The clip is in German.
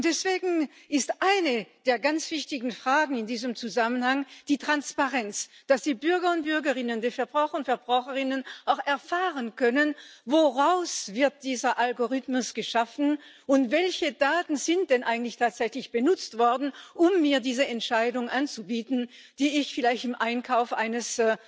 Und deswegen ist eine der ganz wichtigen Fragen in diesem Zusammenhang die Transparenz dass die Bürger und Bürgerinnen, die Verbraucher und Verbraucherinnen auch erfahren können, woraus dieser Algorithmus geschaffen wird und welche Daten denn eigentlich tatsächlich benutzt worden sind, um mir diese Entscheidung anzubieten, die ich vielleicht beim Einkauf eines